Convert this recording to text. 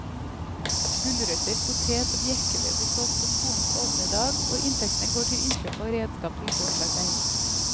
Gulrøtter, potet og bjerkeved blir solgt på skolens åpne dag og inntektene går til innkjøp av redskap til gårdsarbeid.